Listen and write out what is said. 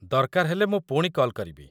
ଦରକାର ହେଲେ ମୁଁ ପୁଣି କଲ୍ କରିବି